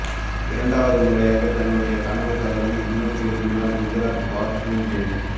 இரண்டாவது முறையாக தன்னுடைய கனவு தகர்ந்து இல்லம் திரும்பினர் குஜராத் ஃபார்ச்சூன் ஜெயிண்ட்ஸ்